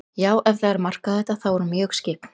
Já, ef það er að marka þetta, þá er hún mjög skyggn.